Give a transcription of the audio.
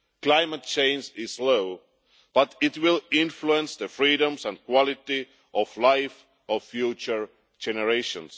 Climate change is slow but it will influence the freedoms and quality of life of future generations.